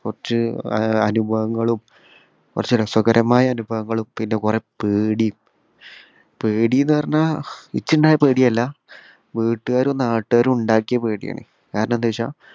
കുറച് അഹ് അനുഭവങ്ങളും കുറച്ചു രസകരമായ അനുഭവങ്ങളും പിന്നെ കൊറേ പേടിം പേടിന്ന് പറഞ്ഞാ എനിച്ചിണ്ടായ പേടിയല്ല വീട്ടുകാരും നാട്ടുകാരും ഉണ്ടാക്കിയ പേടിയാണ് കാരണം എന്താ വെച്ചാ